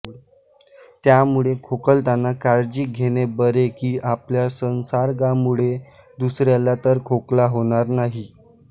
त्यामुळे खोकताना काळजी घेणे बरे की आपल्या संसर्गामुळे दुसऱ्याला तर खोकला होणार नाही